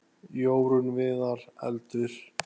Jórunn Viðar: Eldur.